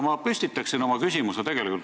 Ma püstitan oma küsimuse Loksa teemal.